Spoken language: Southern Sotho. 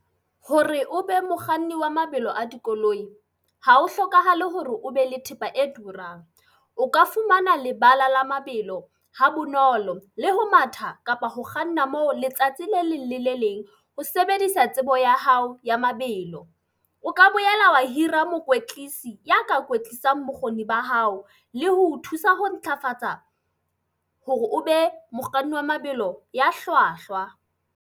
Hore o be mokganni wa mabelo a dikoloi, ha ho hlokahale hore o be le thepa e turang. O ka fumana lebala la mabelo ha bonolo le ho matha, kapa ho kganna moo letsatsi le leng le le leng ho sebedisa tsebo ya hao ya mabelo. O ka boela wa hira mokwetlisi ya ka kwetlisang bokgoni ba hao le ho o thusa ho ntlafatsa hore o be mokganni wa mabelo ya hlwahlwa.